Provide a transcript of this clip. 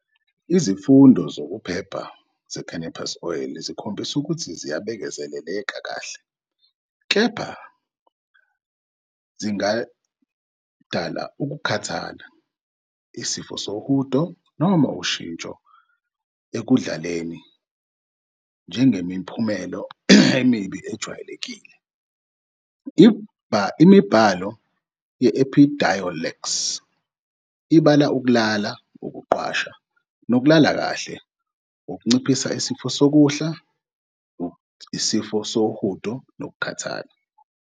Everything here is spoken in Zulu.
Izifundo zokuphepha ze-cannabidiol zikhombisile ukuthi ziyabekezeleleka kahle, kepha zingadala ukukhathala, isifo sohudo, noma ushintsho ekudlaleni njengemiphumela emibi ejwayelekile. Imibhalo ye-Epidiolex ibala ukulala, ukuqwasha nokulala kahle, ukunciphisa isifiso sokudla, isifo sohudo nokukhathala.